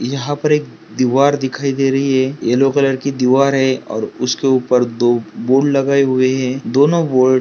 यहा पर एक दीवार दिखाई दे रही है येल्लो कलर की दीवार है और उसके ऊपर दो बोर्ड लगाए हुए है दोनों बोर्ड --